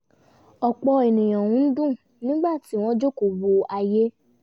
ọ̀pọ̀ ènìyàn ń dùn nígbà tí wọ́n jókòó wo ayé